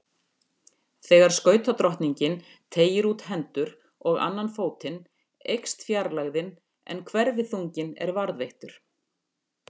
Þegar skautadrottningin teygir út hendur og annan fótinn eykst fjarlægðin en hverfiþunginn er varðveittur.